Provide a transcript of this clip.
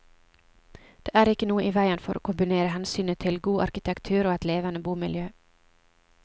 Det er ikke noe i veien for å kombinere hensynet til god arkitektur og et levende bomiljø.